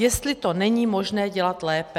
Jestli to není možné dělat lépe.